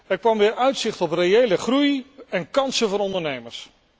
Er kwam weer uitzicht op reële groei en kansen voor ondernemers.